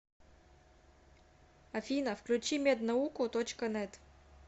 афина включи мед науку точка нэт